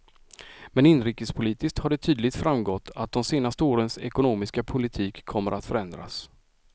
Men inrikespolitiskt har det tydligt framgått att de senaste årens ekonomiska politik kommer att förändras.